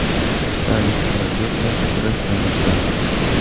Salibchilarga qarshi kurash tarixidan.